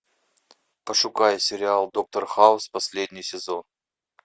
пошукай сериал доктор хаус последний сезон